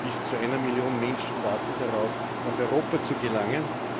Bis zu einer Million Menschen warten darauf, nach Europa zu gelangen.